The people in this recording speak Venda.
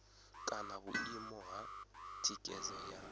kana vhuimo ha thikhedzo ya